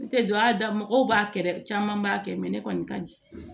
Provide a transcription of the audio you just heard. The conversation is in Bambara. N tɛ don ya da mɔgɔw b'a kɛ dɛ caman b'a kɛ ne kɔni ka di